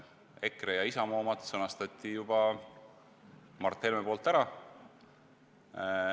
EKRE ja Isamaa omad sõnastas Mart Helme juba ära.